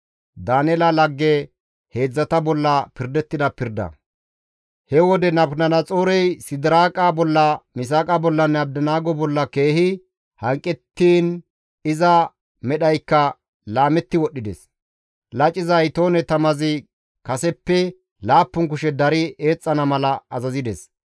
He wode Nabukadanaxoorey Sidiraaqa bolla, Misaaqa bollanne Abdinaago bolla keehi hanqettiin iza medhaykka laametti wodhdhides; laciza itoone tamazi kaseppe laappun kushe dari eexxana mala azazides.